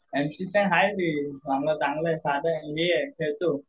M C Stan आहे रे चांगला आहे साधा आहे खेळतो.